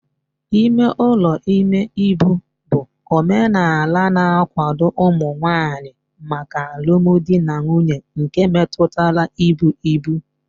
Ime ụlọ ime ibu bụ omenala na-akwado ụmụ nwanyị maka alụmdi na nwunye nke metụtara ibu ibu.